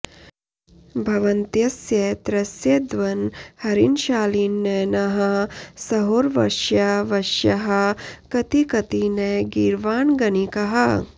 भवन्त्यस्य त्रस्यद्वनहरिणशालीननयनाः सहोर्वश्या वश्याः कति कति न गीर्वाणगणिकाः